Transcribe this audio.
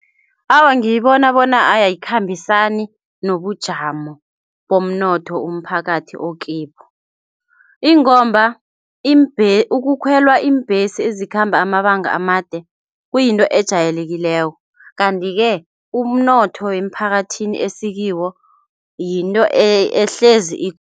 Awa, ngiyibona bona ayikhambisani nobujamo bomnotho umphakathi okibo, ingomba ukukhwelwa iimbhesi ezikhamba amabanga amade kuyinto ejayelekileko kanti-ke umnotho emphakathini esikiwo yinto ehlezi